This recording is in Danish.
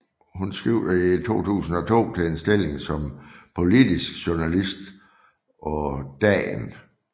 Hun skiftede i 2002 til en stilling som politisk journalist på Dagen